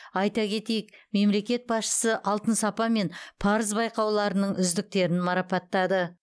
айта кетейік мемлекет басшысы алтын сапа мен парыз байқауларының үздіктерін марапаттады